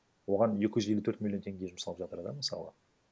оған екі жүз елу төрт миллион теңге жұмсалып жатыр да мысалы